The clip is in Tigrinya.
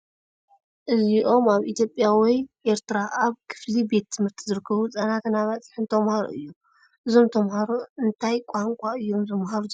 እዚኦም ኣብ ኢትዮጵያ ወይ ኤርትራ ኣብ ክፍሊ ቤት ትምህርቲ ዝርከቡ ህፃናትን ኣባፅሕን ተማሃሮ እዮም። እዞም ተምሃሮ እንታይ ቋንቋ እዮም ዝመሃሩ ዘለዉ?